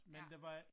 Ja